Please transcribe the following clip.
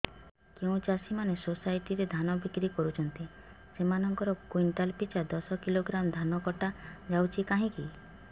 ଯେଉଁ ଚାଷୀ ମାନେ ସୋସାଇଟି ରେ ଧାନ ବିକ୍ରି କରୁଛନ୍ତି ସେମାନଙ୍କର କୁଇଣ୍ଟାଲ ପିଛା ଦଶ କିଲୋଗ୍ରାମ ଧାନ କଟା ଯାଉଛି କାହିଁକି